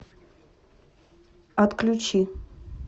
отключи